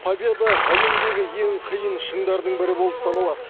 победа әлемдегі ең қиын шыңдардың бірі болып саналады